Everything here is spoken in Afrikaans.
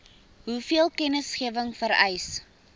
hoeveel kennisgewing vereis